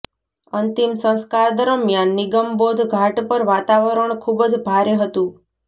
અંતિમ સંસ્કાર દરમિયાન નિગમબોધ ઘાટ પર વાતાવરણ ખૂબ જ ભારે હતું